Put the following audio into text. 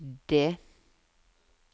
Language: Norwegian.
det